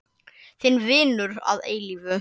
Þinn vinur að eilífu.